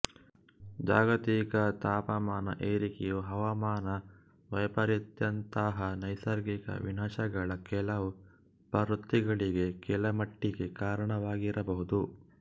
ಜಾಗತಿಕ ತಾಪಮಾನ ಏರಿಕೆಯು ಹವಾಮಾನ ವೈಪರೀತ್ಯದಂತಹ ನೈಸರ್ಗಿಕ ವಿನಾಶಗಳ ಕೆಲವು ಪ್ರವೃತ್ತಿಗಳಿಗೆ ಕೆಲಮಟ್ಟಿಗೆ ಕಾರಣವಾಗಿರಬಹುದು